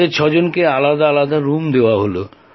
আমাদের ছয়জনকে আলাদা আলাদা রুম দেওয়া হল